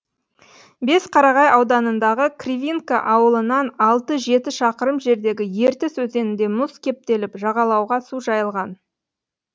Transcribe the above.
бесқарағай ауданындағы кривинка ауылынан алты жеті шақырым жердегі ертіс өзенінде мұз кептеліп жағалауға су жайылған